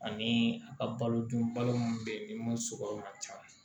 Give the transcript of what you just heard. Ani a ka balo dun balo minnu bɛ yen ni mun suguyaw ka ca